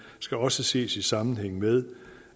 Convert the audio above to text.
skal også ses i sammenhæng med